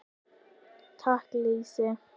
Taka lýsi!